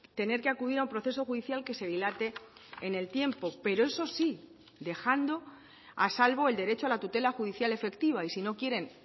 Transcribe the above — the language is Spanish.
tener que acudir a un proceso judicial que se dilate en el tiempo pero eso sí dejando a salvo el derecho a la tutela judicial efectiva y si no quieren